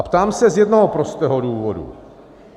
A ptám se z jednoho prostého důvodu.